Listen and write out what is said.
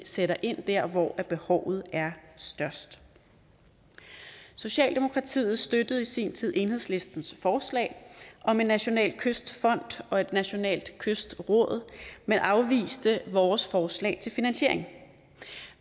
sætter ind der hvor behovet er størst socialdemokratiet støttede i sin tid enhedslistens forslag om en national kystfond og et nationalt kystråd men afviste vores forslag til finansiering